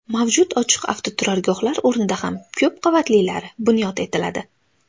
Mavjud ochiq avtoturargohlar o‘rnida ham ko‘p qavatlilari bunyod etiladi.